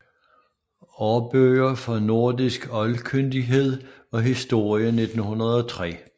Aarbøger for nordisk Oldkyndighed og Historie 1903